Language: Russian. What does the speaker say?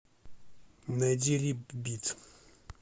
найди рипбит